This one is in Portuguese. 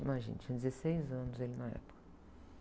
Imagina, tinha dezesseis anos ele na época.